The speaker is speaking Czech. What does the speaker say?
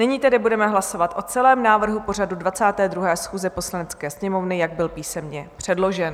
Nyní tedy budeme hlasovat o celém návrhu pořadu 22. schůze Poslanecké sněmovny, jak byl písemně předložen.